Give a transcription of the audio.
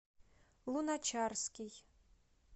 луначарский